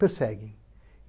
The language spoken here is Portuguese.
perseguem.